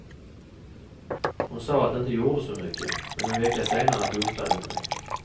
Hon sa att det inte gjorde så mycket, men en vecka senare dumpade hon mig.